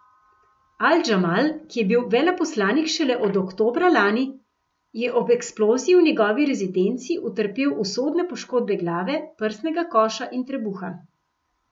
Al Džamal, ki je bil veleposlanik šele od oktobra lani, je ob eksploziji v njegovi rezidenci utrpel usodne poškodbe glave, prsnega koša in trebuha.